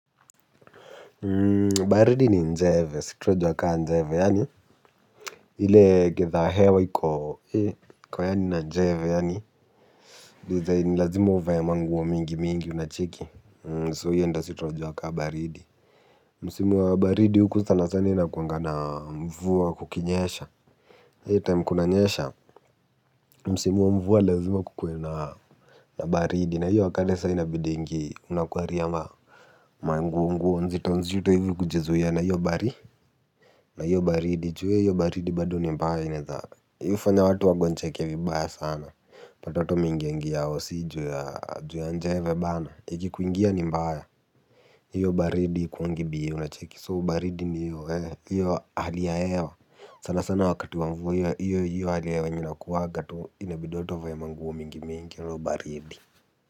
Baridi ni njeve, situna jua kaa njeve, yaani ile gitadha hewa iko yaani na njeve, yaani dizain lazima uvae manguo mingi mingi unacheki So hiyo ndio si tunajua kaa baridi. Msimu wa baridi huku sana sana ina kuangana mvua kukinyesha eei time kuna nyesha, msimu wa mvua lazima kukue na na baridi, na hiyo akadesa ina bidingi unakuari ama manguo nguo nzito nzito hivu kujizuia na hio baridi na hio baridi juu ee hio baridi bado ni mbaya inaezana. Yufanya watu wagonjeke vibaya sana unapata watu wameingia ingia hosi juu ya juu ya njeve bana ikikuingia ni mbaya. Hiyo baridi haikuwangi b a unacheki So baridi ni hio eeh hiyo hali ya hewa. Sana sana wakati wa mvua hiyo hiyo hali ya hewa yenye inakuwangatu. Inabidi watu wavae manguo mingi mingi hio baridi.